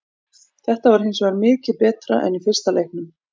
Þetta var hinsvegar mikið betra en í fyrsta leiknum.